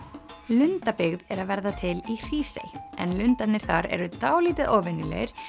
lundabyggð er að verða til í Hrísey en lundarnir þar eru dálítið óvenjulegir